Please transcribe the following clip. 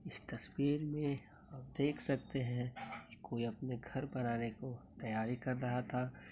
इस तस्वीर में आप देख सकते हैं। कोई अपने घर बनााने को तैयारी कर रहा था।